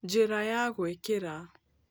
Njĩra ya gwĩkĩra